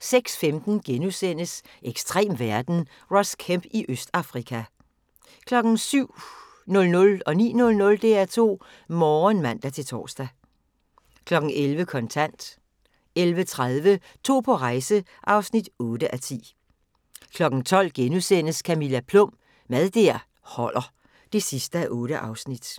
06:15: Ekstrem verden – Ross Kemp i Østafrika * 07:00: DR2 Morgen (man-tor) 09:00: DR2 Morgen (man-tor) 11:00: Kontant 11:30: To på rejse (8:10) 12:00: Camilla Plum – Mad der holder (8:8)*